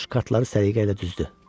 Corc kartları səliqəylə düzdü.